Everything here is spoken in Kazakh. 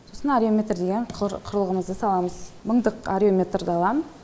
сосын арюметр деген құрылғымызды саламыз мыңдық арюметрді алам